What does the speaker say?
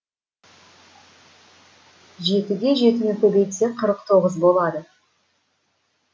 жетіге жетіні көбейтсе қырық тоғыз болады